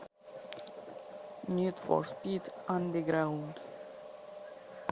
нид фор спид андеграунд